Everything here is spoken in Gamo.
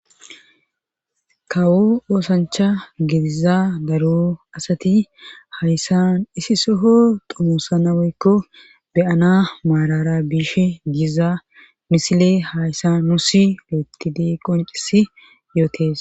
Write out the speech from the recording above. Kawo oosancha gediza daro asati hayssan isi soho tomosa naweykko beyana maarara biishe giza misile hayssa nuusi leettidee qoncisi yootes.